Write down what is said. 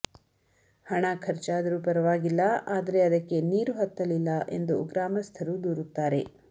ಹಣ ಖರ್ಚಾದರೂ ಪರವಾಗಿಲ್ಲ ಆದರೆ ಅದಕ್ಕೆ ನೀರು ಹತ್ತಲಿಲ್ಲ ಎಂದು ಗ್ರಾಮಸ್ಥರು ದೂರುತ್ತಾರೆ